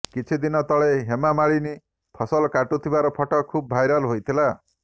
କିଛି ଦିନ ତଳେ ହେମା ମାଳିନୀ ଫସଲ କାଟୁଥିବାର ଫଟୋ ଖୁବ୍ ଭାଇରାଲ ହୋଇଥିଲା